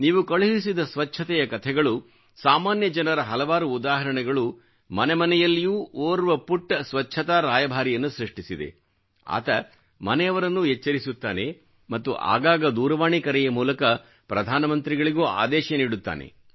ನೀವು ಕಳುಹಿಸಿದ ಸ್ವಚ್ಛತೆಯ ಕಥೆಗಳು ಸಾಮಾನ್ಯ ಜನರ ಹಲವಾರು ಉದಾಹರಣೆಗಳು ಮನೆಮನೆಯಲ್ಲಿಯೂ ಓರ್ವ ಪುಟ್ಟ ಸ್ವಚ್ಛತಾ ರಾಯಭಾರಿಯನ್ನು ಸೃಷ್ಟಿಸಿದೆ ಆತ ಮನೆಯವರನ್ನೂ ಎಚ್ಚರಿಸುತ್ತಾನೆ ಮತ್ತು ಆಗಾಗ ದೂರವಾಣಿ ಕರೆಯ ಮೂಲಕ ಪ್ರಧಾನ ಮಂತ್ರಿಗಳಿಗೂ ಆದೇಶ ನೀಡುತ್ತಾನೆ